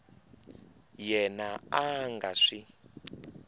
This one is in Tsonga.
yena a a nga swi